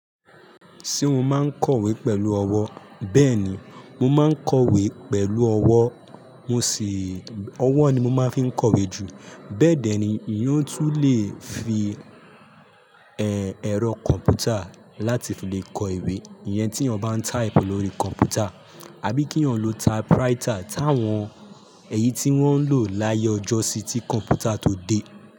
Ṣé mo máa ń kọ̀wé pẹ̀lú ọwọ́? Bẹ́ẹ̀ni, mo máa ń kọ̀wé pẹ̀lú ọwọ́, mo sì, ọwọ́ ni mo máa ń fi ń kọ̀wé jù. Bẹ́ẹ̀dẹ̀ ni ìyọ́ tú lè fi, ẹ, ẹ̀rọ kọ̀m̀pútà láti fi lè kọ ìwé. Iyẹn tí eeyan bá ń type lórí kọ̀m̀pútà àbí kí eeyan ọ̀ lọ typewriter táwọn, èyí tí wọ́n ń lò láyé ọjọ́ sí tí kọ̀m̀pútà tó dé.